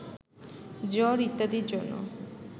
জ্বর ইত্যাদির জন্য